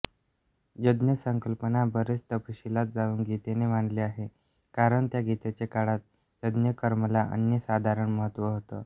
यज्ञसंकल्पना बरीच तपशिलांत जाऊन गीतेने मांडली आहे कारण त्या गीतेच्या काळांत यज्ञकर्माला अनन्यसाधारण महत्त्व होतं